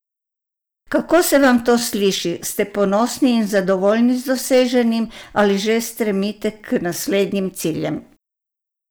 Kako se vam to sliši, ste ponosni in zadovoljni z doseženim ali že stremite k naslednjim ciljem?